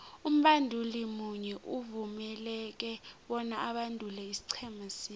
umbanduli munye uvumeleke bona abandule isiqhema sinye